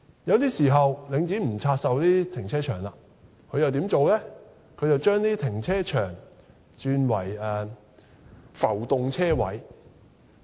有時候，領展不拆售停車場，而是把停車場轉為浮動車位。